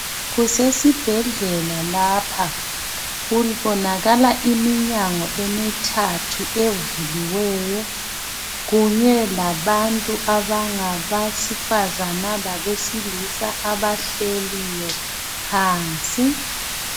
Kusesibhedlela lapha kubonakala iminyango emithathu evuliweyo kunye labantu besifazana labesilisa abahleli phansi.